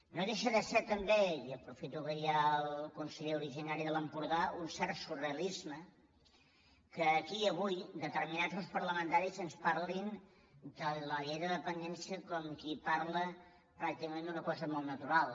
no deixa de ser també i aprofito que hi ha el conseller originari de l’empordà un cert surrealisme que aquí avui determinats grups parlamentaris ens parlin de la llei de dependència com qui parla pràcticament d’una cosa molt natural